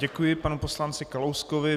Děkuji panu poslanci Kalouskovi.